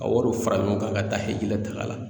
Ka wariw fara ɲɔgɔn kan ka taa hɛrɛ taga la